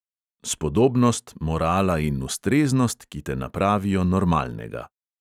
Spodobnost, morala in ustreznost, ki te napravijo normalnega.